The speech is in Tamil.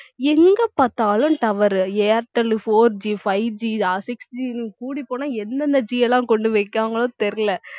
எங்க பார்த்தாலும் tower airtel 4G 5G ஆ sixG கூடிப் போனா எந்தெந்த G லாம் கொண்டு வைக்கிறாங்களோ தெரியலே